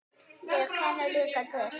Ég kenni líka til.